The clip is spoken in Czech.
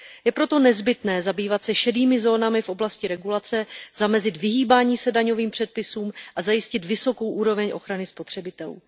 Je proto nezbytné zabývat se šedými zónami v oblasti regulace, zamezit vyhýbání se daňovým předpisům a zajistit vysokou úroveň ochrany spotřebitelů.